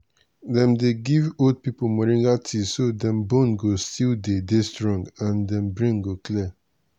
dem dey give old pipo moringa tea so dem bone go still dey dey strong and dem brain go clear.